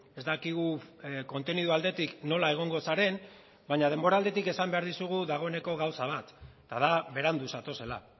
ez dakigu kontenido aldetik nola egongo zaren baina denbora aldetik esan behar dizugu dagoeneko gauza bat eta da berandu zatozela